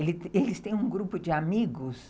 Eles têm um grupo de amigos